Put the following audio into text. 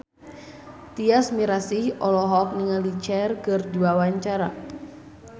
Tyas Mirasih olohok ningali Cher keur diwawancara